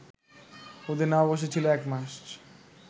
ওদের নববর্ষ ছিল ১ মার্চ